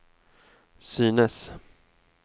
synes